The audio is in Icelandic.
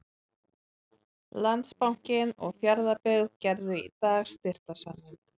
Landsbankinn og Fjarðabyggð gerðu í dag styrktarsamning.